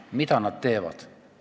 Mida nad teevad?